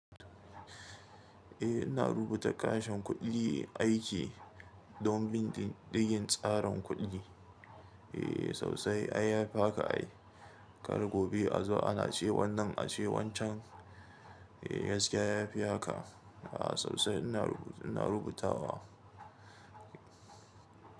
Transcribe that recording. Eh ina rubuta kashin kuɗin aiki don bindigin tsarin kuɗi. Eh sosai ai yafi haka ai. Kar gobe a zo ana ce wannan ace wancan. Eh gaskiya yafi haka. A'a sosai ina rubuta wa.